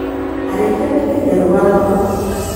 Arĩithia mendagia rũa rwa mbũkũ.